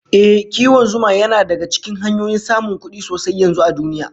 Ehh, kiwon zuma yana daga cikin hanyoyin samun kudi sosai yanzu a duniya